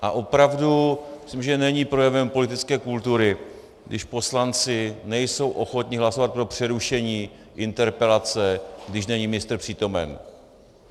A opravdu myslím, že není projevem politické kultury, když poslanci nejsou ochotni hlasovat pro přerušení interpelace, když není ministr přítomen.